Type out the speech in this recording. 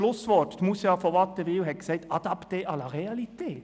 Noch ein Schlusswort: Moussia von Wattenwyl hat gesagt: «s’adapter à la réalité».